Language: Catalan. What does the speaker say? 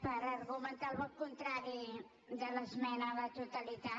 per argumentar el vot contrari a l’esmena a la totalitat